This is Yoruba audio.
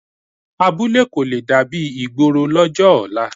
Abúlé kò le dàbí ìgboro lọ́jọ́ ọ̀la